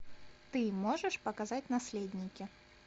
ты можешь показать наследники